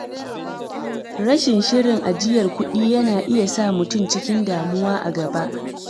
Rashin shirin ajiyar kuɗi yana iya sa mutum cikin damuwa a gaba.